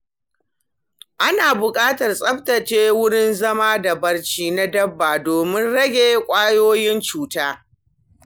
Ana buƙatar tsaftace wurin zama da barci na dabba domin rage ƙwayoyin cuta.